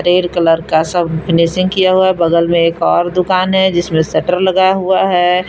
Colour का सब finishing किया हुआ बगल में एक और दुकान है जिसमें शटर लगा हुआ है।